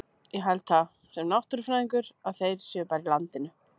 Ég held það, sem náttúrufræðingur, að þeir séu bara í landinu.